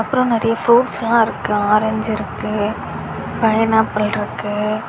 அப்புறம் நிறைய ஃப்ரூட்ஸெல்லாம் இருக்கு ஆரஞ்சு இருக்கு பைனாப்பிள் இருக்கு.